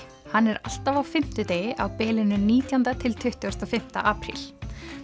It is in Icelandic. hann er alltaf á fimmtudegi á bilinu nítjándi til tuttugasta og fimmta apríl